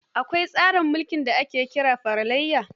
Akwai tsarin mulki da ake kira feralaiya.